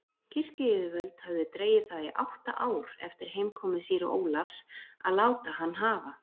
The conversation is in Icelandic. Kirkjuyfirvöld höfðu dregið það í átta ár eftir heimkomu síra Ólafs að láta hann hafa